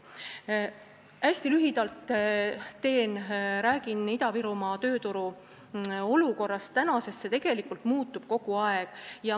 Teen hästi lühidalt ja räägin Ida-Virumaa tööturu olukorrast, sest see muutub kogu aeg.